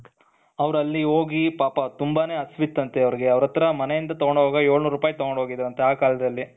ಅವರು ಅಲ್ಲಿ ಹೋಗಿ ಪಾಪ ತುಂಬಾನೇ ಹಸಿವು ಇದ್ದಂತೆ ಅವರಿಗೆ ಅವರ ಹತ್ರ ಮನೆಯಿಂದ ತಗೊಂಡು ಹೋಗಿರುವ ಎಳುನೂರು ರುಪಾಯಿ ತೊಗೊಂಡ್ ಹೋಗಿದ್ರಂತೆ ಆ ಕಾಲದಲ್ಲಿ